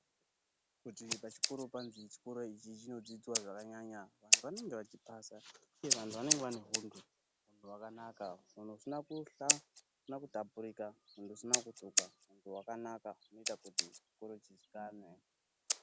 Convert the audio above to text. Kuti pachikoro panzi chikoro ichi chinodzidzwa zvakanyanya, vantu vanenge vachiphasa, uye vantu vanenge vane huntu hwakanaka. Huntu husina kuhla husina kutapurika ,huntu husina kutukwa, huntu hwakanaka, hunoita kuti chikoro chiziikane.